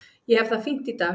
Ég hef það fínt í dag.